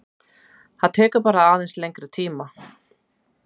Það tekur bara aðeins lengri tíma